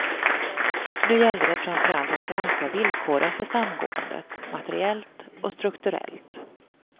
Nu gällde det framför allt att granska villkoren för samgåendet, materiellt och strukturellt.